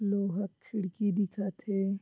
लोहा क खिड़की दिखत हे।